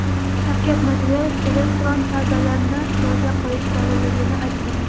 Shavkat Mirziyoyev elektron savdolarni yo‘lga qo‘yish zarurligini aytdi.